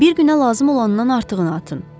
Bir günə lazım olandan artığını atın.